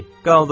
Qaldırın.